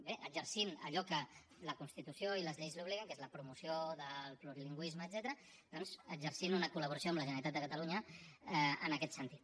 bé exercint allò a què la constitució i les lleis l’obliguen que és la promoció del plurilingüisme etcètera doncs exercint una col·laboració amb la generalitat de catalunya en aquest sentit